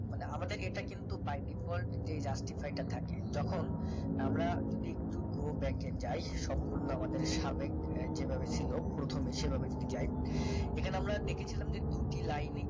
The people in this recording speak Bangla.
মানে আমাদের এটা কিন্তু by default যেই justify টা থাকে যখন আমরা যদি একটু go back এ যাই সম্পূর্ণ আমাদের সাবেক যেভাবে ছিল প্রথমে সেভাবে যদি যাই এখানে আমরা দেখেছিলাম যে দুটি লাইনে